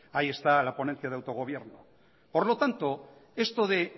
ahí está la ponencia de autogobierno por lo tanto esto de